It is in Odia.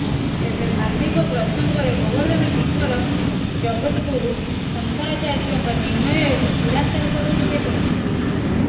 ତେବେ ଧାର୍ମିକ ପ୍ରସଙ୍ଗରେ ଗୋବର୍ଦ୍ଧନ ପୀଠର ଜଗଦ୍ଗୁରୁ ଶଙ୍କରାଚାର୍ଯ୍ୟଙ୍କ ନିର୍ଣ୍ଣୟ ହିଁ ଚୂଡ଼ାନ୍ତ ହେବ ବୋଲି ସେ କହିଛନ୍ତି